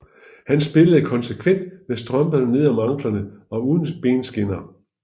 Han spillede konsekvent med strømperne nede om anklerne og uden benskinner